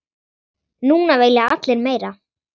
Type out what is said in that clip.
Núna vilja allir meira.